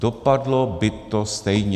Dopadlo by to stejně.